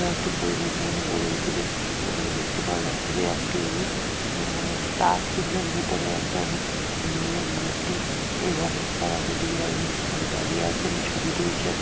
একটি পরিবেশে অনেক গড়ে উঠেছে | এখানে দেখতে পাওয়া যাচ্ছে যে একটি স্টার চিহ্নের ভিতরে একজন মেয়ের মূর্তি | এবং তার আগে দিকে একজন ছেলে দাঁড়িয়ে আছেন ছবি তুলছেন।